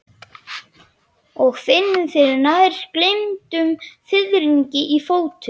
Og finnur fyrir nær gleymdum fiðringi í fótum.